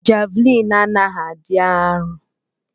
Javlin anaghi adi arọ.